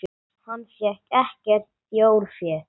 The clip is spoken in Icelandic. Hann fékk ekkert þjórfé.